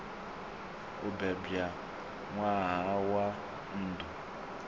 o bebwa ṋwaha wa nndwa